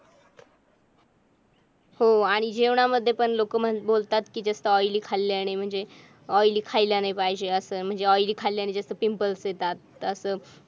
हो आणि जीवनामध्ये पण लोकं बोलतात कि के जास्त oily खाल्ल्याने म्हणजे oily खायला नाही पाहिजे असं oily खायला ने जास्त पिंपल्स येतात अस